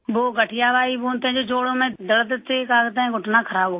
वो गठिया बाय बोलते हैं जो जोड़ों में दर्द से घुटना खराब हो गई